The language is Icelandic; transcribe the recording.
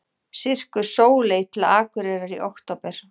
Sirkus Sóley til Akureyrar í október